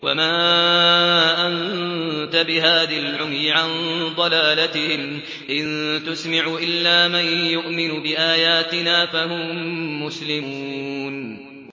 وَمَا أَنتَ بِهَادِي الْعُمْيِ عَن ضَلَالَتِهِمْ ۖ إِن تُسْمِعُ إِلَّا مَن يُؤْمِنُ بِآيَاتِنَا فَهُم مُّسْلِمُونَ